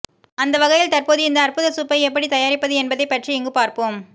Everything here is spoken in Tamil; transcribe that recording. அந்தவகையில் தற்போது இந்த அற்புத சூப்பை எப்படி தயாரிப்பது என்பதை பற்றி இங்கு பார்ப்போம்